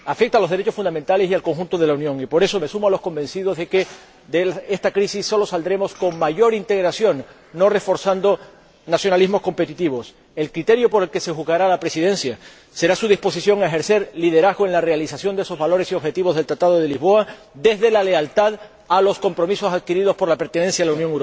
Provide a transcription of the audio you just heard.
Afecta a los derechos fundamentales y al conjunto de la Unión, y por eso me sumo a los convencidos de que de esta crisis solo saldremos con mayor integración, no reforzando nacionalismos competitivos. El criterio por el que se juzgará a la Presidencia será su disposición a ejercer liderazgo en la realización de esos valores y objetivos del Tratado de Lisboa desde la lealtad a los compromisos adquiridos por la pertenencia a la Unión Europea.